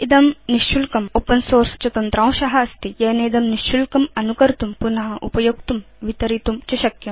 इदं निशुल्कं open source च तन्त्रांश अस्ति येनेदं निशुल्कम् अनुकर्तुं पुन उपयोक्तुं वितरितुं च शक्यम्